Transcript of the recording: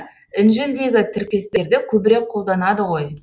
інжілдегі тіркестерді көбірек қолданады ғой